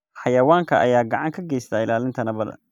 Xayawaankan ayaa gacan ka geysta ilaalinta nabadda.